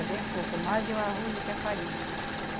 É bem pouco mais de o arroz do que a farinha.